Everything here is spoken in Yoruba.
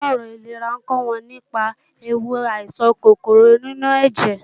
Onímọ̀ràn ìlera ń kọ́ wọn nípa ewu àìsàn kòkòrò inú ẹ̀jẹ̀